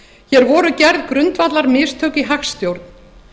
hér voru gerð grundvallarmistök í hagstjórn